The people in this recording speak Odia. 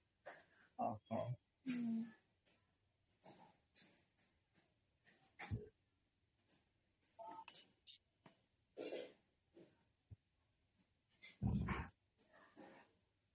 noise